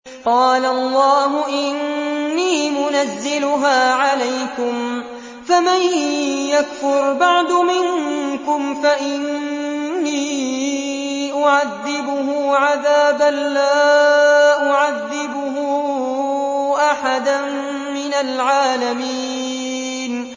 قَالَ اللَّهُ إِنِّي مُنَزِّلُهَا عَلَيْكُمْ ۖ فَمَن يَكْفُرْ بَعْدُ مِنكُمْ فَإِنِّي أُعَذِّبُهُ عَذَابًا لَّا أُعَذِّبُهُ أَحَدًا مِّنَ الْعَالَمِينَ